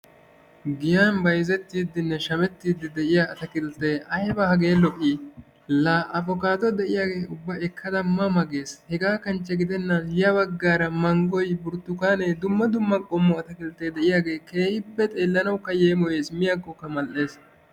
Giyan bayzetiidinne shamettiidi de'iya ataakkiltee ayba hagee lo'ii? Laa abokaado de'iyaage ubba ekkada ma ma gees. Hegaa kanchche gidennan mangoy, burttukaanee dumma dumma qommo ataakiltee diyaagee keehippe xeelanawukka yeemoyees. Miyaakokka mal'ees.